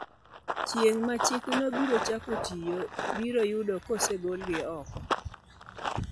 Chieng' ma chikno biro chako tiyo, biro yudo ka osegolgi oko.